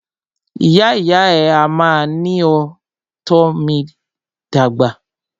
Ìyá ìyá à mí ní o tọ́ mí dàgbà.